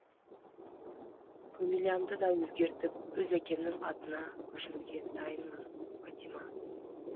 фамилиямды да өзгертіп өз әкемнің атына көшіруге дайынмын бәтима